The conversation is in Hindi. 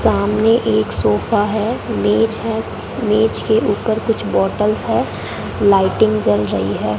सामने एक सोफा है मेज है मेज के ऊपर कुछ बोतल है लाइटिंग जल रही है।